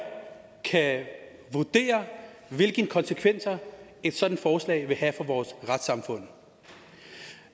kan vurdere hvilke konsekvenser et sådant forslag vil have for vores retssamfund